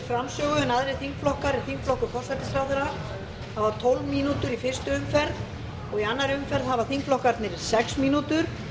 framsögu en aðrir þingflokkar en þingflokkur forsætisráðherra hafa tólf mínútur í fyrstu umferð í annarri umferð hafa þingflokkarnir sex mínútur